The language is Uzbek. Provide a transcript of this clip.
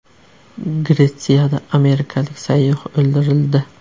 Gretsiyada amerikalik sayyoh o‘ldirildi.